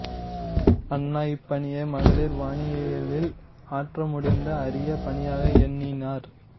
அன்னா இப்பணியை மகளிர் வானியலில் ஆற்றமுடிந்த அரிய பணியாக எண்ணினார்